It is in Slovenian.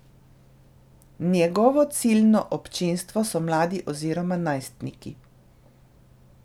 Njegovo ciljno občinstvo so mladi oziroma najstniki.